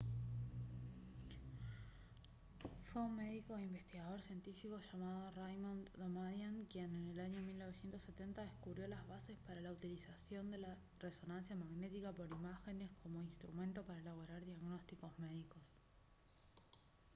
fue un médico e investigador científico llamado raymond damadian quien en el año 1970 descubrió las bases para la utilización de la resonancia magnética por imágenes como instrumento para elaborar diagnósticos médicos